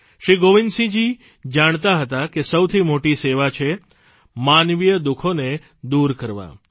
શ્રી ગોવિંદસિંહજી જાણતા હતા કે સૌથી મોટી સેવા છે માનવીય દુઃખોને દૂર કરવાં